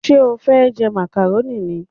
Ṣé o fẹ́ jẹ màkàrónì ni?